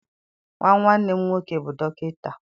Nwa nwanne m nwoke bụ dọkịta.